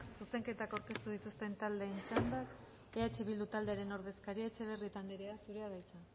zuzenketak aurkeztu dituzten taldeen txanda eh bildu taldearen ordezkaria etxebarrieta andrea zurea da hitza